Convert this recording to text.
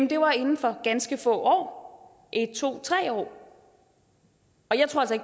det var inden for ganske få en to tre år